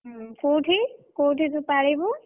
ହୁଁ, କୋଉଠି ତୁ ପାଳିବୁ?